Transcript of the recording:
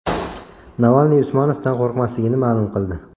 Navalniy Usmonovdan qo‘rqmasligini ma’lum qildi.